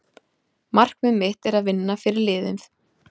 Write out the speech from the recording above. Markmið mitt er að vinna fyrir liðið.